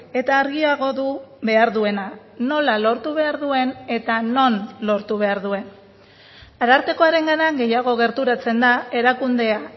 eta argiago du behar duena nola lortu behar duen eta non lortu behar duen arartekoarengana gehiago gerturatzen da erakundea